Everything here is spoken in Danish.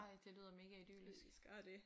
Ej det lyder mega idyllisk